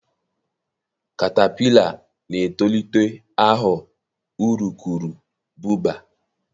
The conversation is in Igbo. katapila na-etolite aghọ urukurubụba.